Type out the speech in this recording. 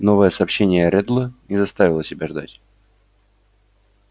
новое сообщение реддла не заставило себя ждать